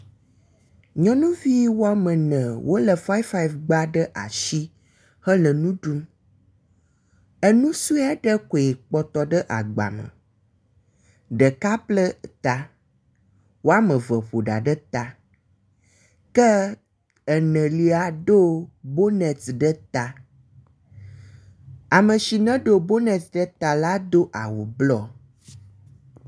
Nyɔnuvi woame ene, wolé five, five gba ɖe asi hele nu ɖum. Enu sɔe aɖe koe kpɔtɔ ɖe agba me. Ɖeka ble ta, woame ve ƒo ɖa ɖe ta, ke enelia ɖo bonet ɖe ta. Ame si neɖo bonet ɖe ta la do awu blɔ.